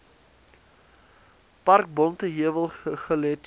park bonteheuwel guguletu